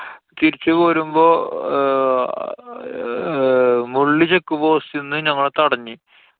തിരിച്ചു പോരുമ്പോ ആഹ് മുള്ളി check post ന്നു ഞങ്ങളെ തടഞ്ഞു.